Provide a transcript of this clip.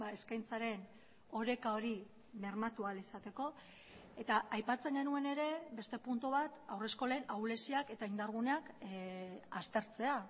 eskaintzaren oreka hori bermatu ahal izateko eta aipatzen genuen ere beste puntu bat haurreskolen ahuleziak eta indarguneak aztertzea